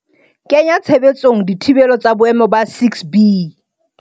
kenya tshebetsong dithibelo tsa boemo ba 6B.